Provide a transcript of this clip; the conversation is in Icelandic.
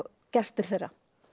gestir þeirra